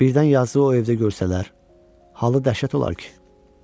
Birdən yazıq o evdə görsələr, halı dəhşət olar ki.